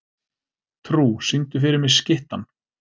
Trú, syngdu fyrir mig „Skyttan“.